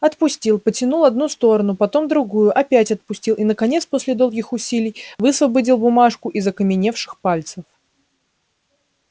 отпустил потянул одну сторону потом другую опять отпустил и наконец после долгих усилий высвободил бумажку из окаменевших пальцев